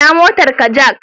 Ina motarka Jack